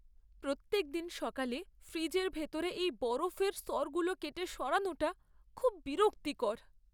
প্রত্যেকদিন সকালে ফ্রিজের ভিতরে এই বরফের স্তরগুলো কেটে সরানোটা খুব বিরক্তিকর!